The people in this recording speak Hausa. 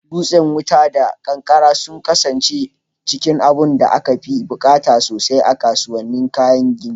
Dutsen wuta da kankare sun kasance cikin abunda aka fi buƙata sosai a kasuwannin kayan gini.